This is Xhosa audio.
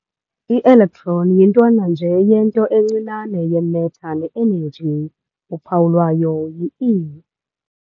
Ielectron yintwana nje yento ntwana encinane ye-matter ne-energy. uphawu lwayo yi-e−.